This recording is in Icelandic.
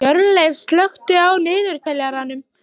Hjörleif, slökktu á niðurteljaranum.